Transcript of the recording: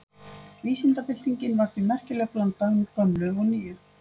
Vísindabyltingin var því merkileg blanda af gömlu og nýju.